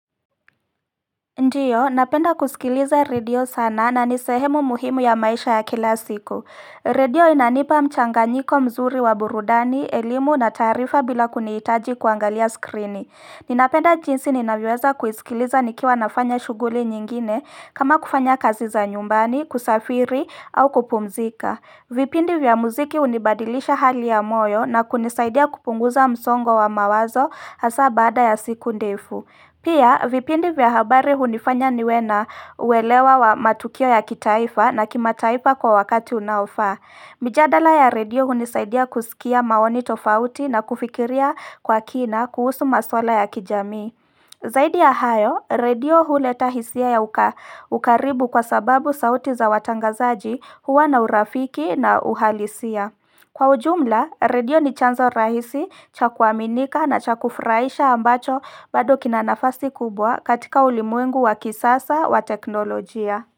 Ndiyo, napenda kusikiliza redio sana na ni sehemu muhimu ya maisha ya kila siku Radio inanipa mchanganyiko mzuri wa burudani, elimu na taarifa bila kunihitaji kuangalia skrini Ninapenda jinsi ninavyoweza kuisikiliza nikiwa nafanya shughuli nyingine kama kufanya kazi za nyumbani, kusafiri au kupumzika vipindi vya muziki unibadilisha hali ya moyo na kunisaidia kupunguza msongo wa mawazo hasa baada ya siku ndefu Pia, vipindi vya habari hunifanya niwe na uelewa wa matukio ya kitaifa na kima taifa kwa wakati unaofaa. Mijadala ya redio hunisaidia kusikia maoni tofauti na kufikiria kwa kina kuhusu maswala ya kijamii. Zaidi ya hayo, redio huleta hisia ya ukaribu kwa sababu sauti za watangazaji huwa na urafiki na uhalisia. Kwa ujumla, redio ni chanza rahisi cha kuaminika na cha kufraisha ambacho bado kina nafasi kubwa katika ulimwengu wa kisasa wa teknolojia.